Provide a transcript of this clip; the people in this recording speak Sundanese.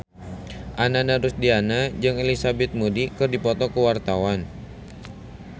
Ananda Rusdiana jeung Elizabeth Moody keur dipoto ku wartawan